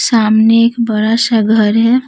सामने एक बड़ा सा घर है।